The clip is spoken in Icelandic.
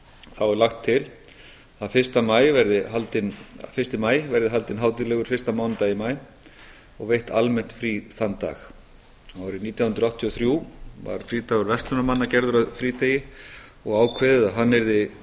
þá er lagt til að fyrsta maí verði haldinn hátíðlegur fyrsta mánudag í maí og veitt almennt frí þann dag árið nítján hundruð áttatíu og þrjú var frídagur verslunarmanna gerður að frídegi og ákveðið að hann yrði